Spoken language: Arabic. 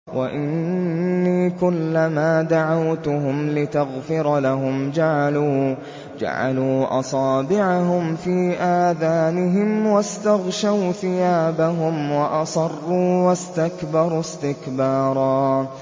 وَإِنِّي كُلَّمَا دَعَوْتُهُمْ لِتَغْفِرَ لَهُمْ جَعَلُوا أَصَابِعَهُمْ فِي آذَانِهِمْ وَاسْتَغْشَوْا ثِيَابَهُمْ وَأَصَرُّوا وَاسْتَكْبَرُوا اسْتِكْبَارًا